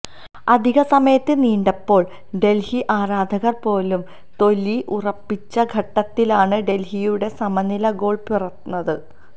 അധിക സമയത്ത് നീണ്ടപ്പോള് ഡെല്ഹി ആരാധകര് പോലും തോല്വി ഉറപ്പിച്ച ഘട്ടത്തലാണ് ഡല്ഹിയുടെ സമനില ഗോള് പിറന്നത്